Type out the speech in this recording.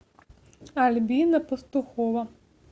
альбина пастухова